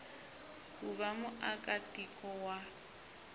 ku va muaka tiko wa